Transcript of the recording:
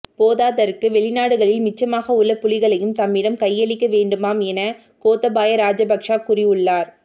போதாதற்கு வெளிநாடுகளில் மிச்சமாக உள்ள புலிகளையும் தம்மிடம் கையளிக்க வேண்டுமாம் என கோத்தபாய ராஜபக்ஷ கூறியுள்ளார்